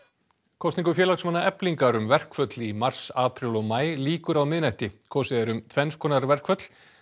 kosningu félagsmanna Eflingar um verkföll í mars apríl og maí lýkur á miðnætti kosið er um tvenns konar verkföll